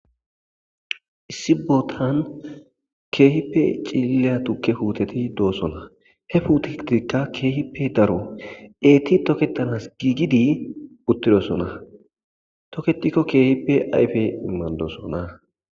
Issi bootan keehippe cililiya tukiya puuteti doosona. He puutetikka keehippe daro eeti toketanasi giigidi utidosona. Toketikko keehi ayfe maadosona.